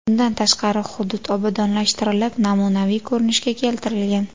Bundan tashqari hudud obodonlashtirilib, namunaviy ko‘rinishga keltirilgan.